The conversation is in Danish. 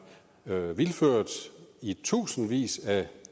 vildført i tusindvis af